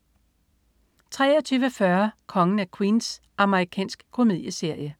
23.40 Kongen af Queens. Amerikansk komedieserie